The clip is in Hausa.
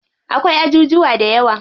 Akwai ajujuwa dayawa.